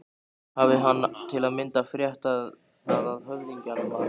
Hafi hann til að mynda frétt það af höfðingjum að